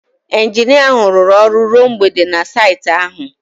Injinia ahụ rụrụ ọrụ ruo mgbede na saịtị ahụ